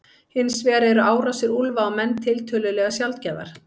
Hins vegar eru árásir úlfa á menn tiltölulega sjaldgæfar.